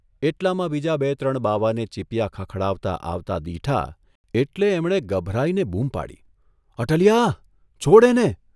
એટલામાં બીજા બે ત્રણ બાવાને ચીપિયા ખખડાવતા આવતા દીઠા એટલે એમણે ગભરાઇને બૂમ પાડી, અટલીયા, છોડ એને.